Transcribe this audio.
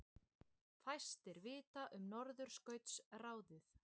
Fæstir vita um Norðurskautsráðið